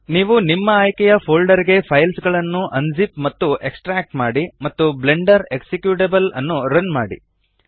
ನೀವು ನಿಮ್ಮ ಆಯ್ಕೆಯ ಫೋಲ್ಡರ್ ಗೆ ಫೈಲ್ಸ್ ಗಳನ್ನು ಅನ್ ಝಿಪ್ ಮತ್ತು ಎಕ್ಸ್ಟ್ರಾಕ್ಟ್ ಮಾಡಿ ಮತ್ತು ಬ್ಲೆಂಡರ್ ಎಕ್ಸಿಕ್ಯುಟೇಬಲ್ ನ್ನು ರನ್ ಮಾಡಿ